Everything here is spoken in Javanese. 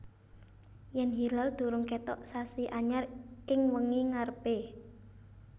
Yèn hilal durung kètok sasi anyar ing wengi ngarepé